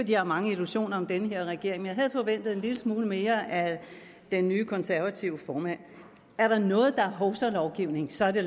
jeg har mange illusioner om den her regering men jeg havde forventet en lille smule mere af den nye konservative formand er der noget der er hovsalovgivning så er det